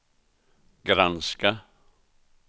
granska